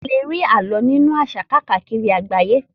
A lè rí alo nínú àṣà káàkiri àgbáyé.